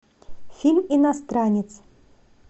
фильм иностранец